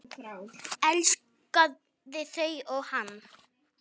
Elskaði þau og þau hann.